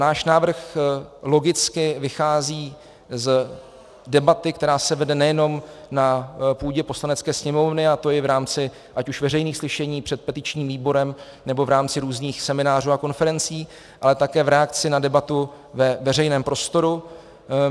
Náš návrh logicky vychází z debaty, která se vede nejenom na půdě Poslanecké sněmovny, a to i v rámci ať už veřejných slyšení před petičním výborem, nebo v rámci různých seminářů a konferencí, ale také v reakci na debatu ve veřejném prostoru.